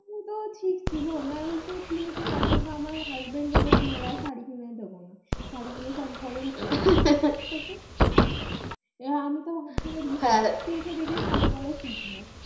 তা ঠিক ছিল নাহলে সেই কিনে কিনে এখন তো আমার husband বলে তোমাকে আর শাড়ী কিনে দিবোনা শাড়ী গুলো সব ঘরের মধ্যে আমি তো ভাবছিলাম আর দেখে দেখে শাড়ী পড়া শিখবো